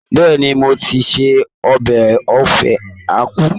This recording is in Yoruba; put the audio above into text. Bẹ́ẹ̀ni, mo ti se ọbẹ̀ Ofe Akwu